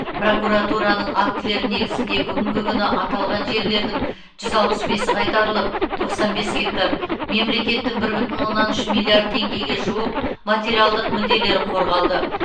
прокуратураның актілері негізінде бүгінгі күні аталған жерлердің жүз алпыс бесі қайтарылып тоқсан бес гектар мемлекеттің бір бүтін оннан үш миллиард теңгеге жуық материалдық мүдделері қорғалды